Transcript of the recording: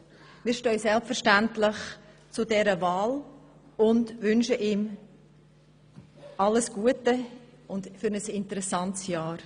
Wir stehen selbstverständlich zu dieser Wahl und wünschen ihm alles Gute und ein interessantes Jahr.